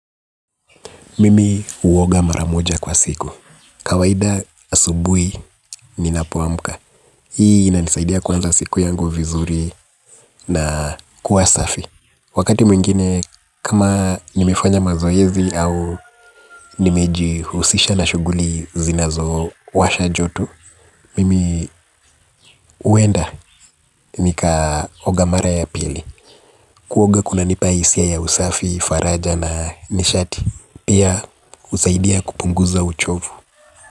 Mimi huoga maramoja kwa siku. Kawaida asubuhi ni napoamka. Hii inanisaidia kuanza siku yangu vizuri na kuwasafi. Wakati mwingine, kama nimefanya mazoezi au nimeji husisha na shughuli zinazo washa joto, mimi huenda nika ogamara ya pili. Kuoga kuna nipa hisia ya usafi, faraja na nishati. Pia husaidia kupunguza uchovu.